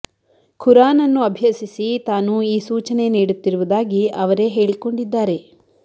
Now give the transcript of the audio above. ಖುರಾನ್ ಅನ್ನು ಅಭ್ಯಸಿಸಿ ತಾನು ಈ ಸೂಚನೆ ನೀಡುತ್ತಿರುವುದಾಗಿ ಅವರೇ ಹೇಳಿಕೊಂಡಿದ್ದಾರೆ